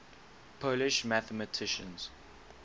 polish mathematicians